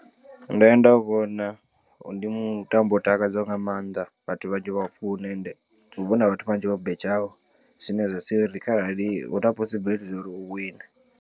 Ndo ya nda vhona ndi mutambo u takadzaho nga maanḓa vhathu vhanzhi vha ufuna and hu vha huna vhathu vhanzhi vho betshaho zwine zwa sia uri kharali hu na possibility zwori u wine.